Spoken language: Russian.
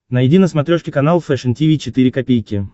найди на смотрешке канал фэшн ти ви четыре ка